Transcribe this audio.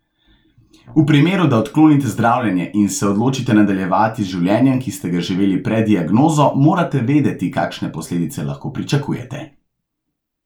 V primeru, da odklonite zdravljenje in se odločite nadaljevati z življenjem, ki ste ga živeli pred diagnozo, morate vedeti, kakšne posledice lahko pričakujete.